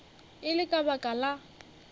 e le ka baka la